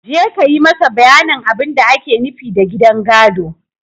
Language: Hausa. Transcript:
Je ka yi masa bayanin abin da ake nufi da gidan gado!